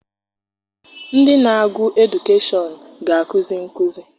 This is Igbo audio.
Ndị na-agụ edukeshọn ga- akụzi nkụzi.